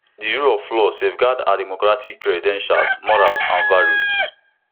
di rule of law safeguard our democratic credentials morals and values